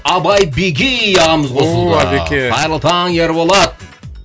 абай бегей ағамыз қосылып жатыр ооо әбеке қайырлы таң ерболат